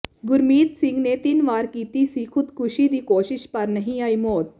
ਗੁਰਮੀਤ ਸਿੰਘ ਨੇ ਤਿੰਨ ਵਾਰ ਕੀਤੀ ਸੀ ਖੁਦਕੁਸ਼ੀ ਦੀ ਕੋਸ਼ਿਸ਼ ਪਰ ਨਹੀਂ ਆਈ ਮੌਤ